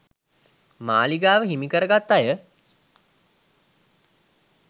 මාළිගාව හිමි කර ගත් අය